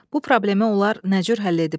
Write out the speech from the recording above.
Bu problemi onlar nə cür həll ediblər?